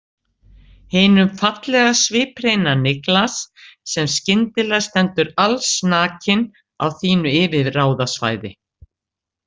Hinum fallega sviphreina Niklas sem skyndilega stendur allsnakinn á þínu yfirráðasvæði.